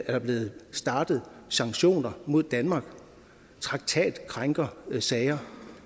er blevet startet sanktioner mod danmark traktatkrænkersager